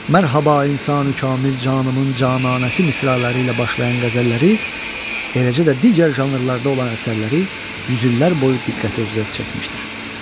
Mərhaba insani kamil canımın cananəsi misraları ilə başlayan qəzəlləri, eləcə də digər janrlarda olan əsərləri yüz illər boyu diqqəti özünə çəkmişdir.